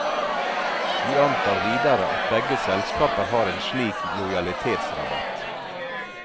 Vi antar videre at begge selskaper har en slik lojalitetsrabatt.